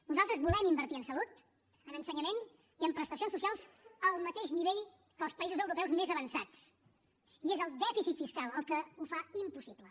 nosaltres volem invertir en salut en ensenyament i en prestacions socials al mateix nivell que els països europeus més avançats i és el dèficit fiscal el que ho fa impossible